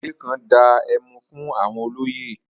Ọlámilékan dá ẹmu fún àwọn olóyè.